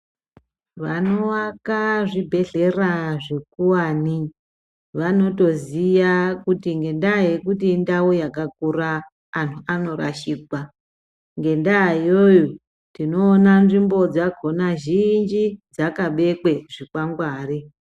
Vanoaka zvibhedhleya zvikuwane vanotoziya kuti ngendaa yekuti indau yakakura antu anorashikwa ngendaa iyoyo tinoona nzvimbo dzakona zhinji dzakabekwe zvikwangwari.